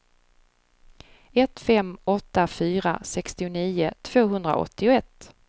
ett fem åtta fyra sextionio tvåhundraåttioett